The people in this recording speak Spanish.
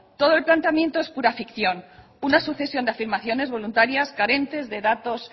todo el planteamiento es pura ficción una sucesión de afirmaciones voluntarias carentes de datos